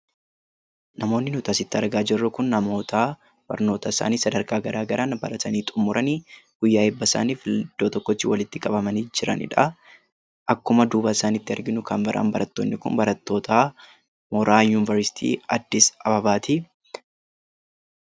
Namoonni nuti asitti argaa jirru kun namoota barnoota isaanii sadarkaa garaagaraan baratanii xummuranii guyyaa eebbasaaniif iddoo tokkotti walitti qabamanii jiraniidha. Akkuma duuba isaaniitti arginu kan biraan barattoonni kun barattoota mooraa Yuunvaristii Addis Ababaati.